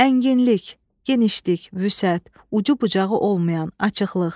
Ənginlik, genişlik, vüsət, ucu-bucağı olmayan, açıqlıq.